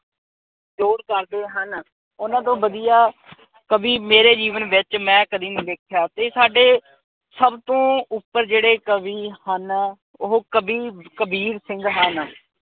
ਕਰਦੇ ਹਨ। ਓਹਨਾ ਤੋਂ ਵਧੀਆ ਕਵੀ ਮੇਰੇ ਜੀਵਨ ਵਿਚ ਮੈਂ ਕਦੀ ਨੀ ਵੇਖਿਆ ਤੇ ਸਾਡੇ ਸਭ ਤੋਂ ਉਪਰ ਜਿਹੜੇ ਕਵੀ ਹਨ, ਉਹ ਕਵੀ ਕਬੀਰ ਸਿੰਘ ਹਨ।